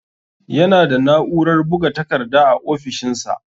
Yana da na'urar buga takarda a ofishinsa.